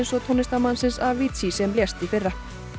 og tónlistarmannsins Avicii sem lést í fyrra